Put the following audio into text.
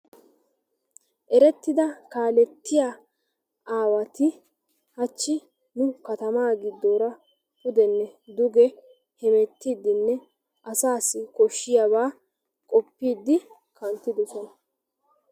Erettida kaalettiya aawati hachchi nu katamani pudene duge heemettidi asasi koshshiyaba odidi kanttidosona.